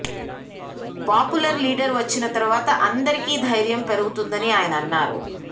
popular leader వచ్చిన తర్వాత అందరికీ ధైర్యం పెరుగుతుందని ఆయన అన్నారు